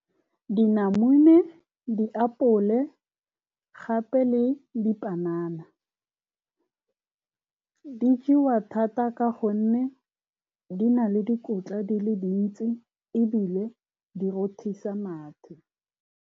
Dinamune, diapole gape le dipanana di jewa thata ka gonne di na le dikotla di le dintsi, ebile di rothisa mathe.